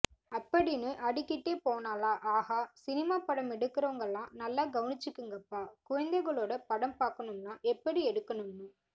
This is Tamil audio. அப்படின்னு அடுக்கிகிட்டே போனாளா ஆஹா சினிமா படம் எடுக்கிறவங்களா நல்லா கவனிச்சிக்கங்கப்பா குழந்தைங்களோட படம் பாக்கணும்னா எப்படி எடுக்கணும்னு